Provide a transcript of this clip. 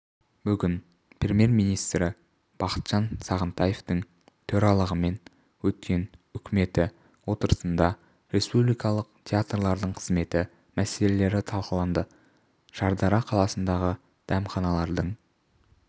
бүгін премьер-министрі бақытжан сағынтаевтың төрағалығымен өткен үкіметі отырысында республикалық театрлардың қызметі мәселелері талқыланды шардара қаласындағы дәмханалардың